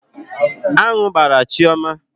Aṅụ ahụ gbraa Chioma.